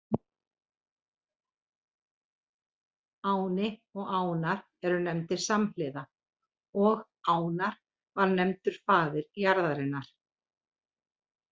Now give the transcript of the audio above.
Áni og Ánar eru nefndir samhliða og Ánar var nefndur faðir jarðarinnar.